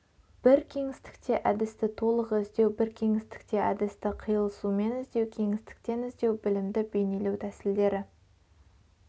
бір кеңістікте әдісті толық іздеу бір кеңістікте әдісті қиылысумен іздеу кеңістіктен іздеу білімді бейнелеу тісілдері